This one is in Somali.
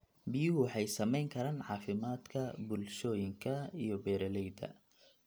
Biyuhu waxay saamayn karaan caafimaadka bulshooyinka iyo beeralayda.